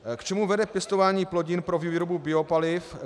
K čemu vede pěstování plodin pro výrobu biopaliv?